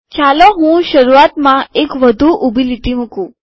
ચાલો હું શરૂઆતમાં એક વધુ ઊભી લીટી મુકું